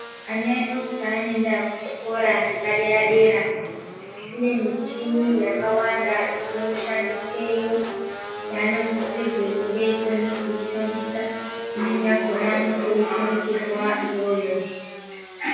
Ana edu paano enda ku zvikora zvepa deda dera kune michini yakawanda ino shandisweyo yaano sisirwe kunge eyikone kuishandisa imweni yakona anoto fundisirwe iyoyo.